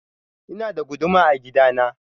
Ina da guduma a gida na.